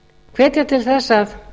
hvetja til þess að